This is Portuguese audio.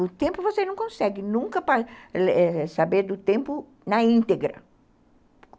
O tempo você não consegue nunca saber do tempo na íntegra.